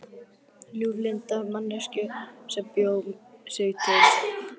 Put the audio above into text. Ljúflynda manneskju sem bjó sig til sjálf.